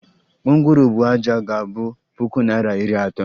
Gwongworo buu ájá ga abu puku naira iri atọ